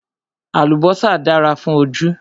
Àlùbọ́sà dára fún ojú